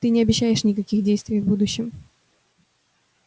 ты не обещаешь никаких действий в будущем